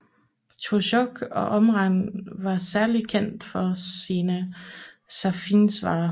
Torzjok og omegn var særlig kendt for sine saffiansvarer